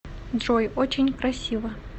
джой очень красиво